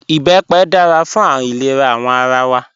Ìbẹ́pẹ dára fún ilẹ̀rà awọn ara wa